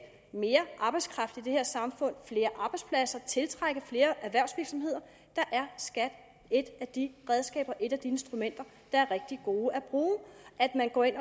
mere arbejdskraft i det her samfund flere arbejdspladser tiltrække flere erhvervsvirksomheder og der er skat et af de redskaber et af de instrumenter der er rigtig gode at